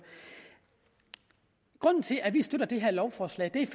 grunden til at vi støtter det her lovforslag er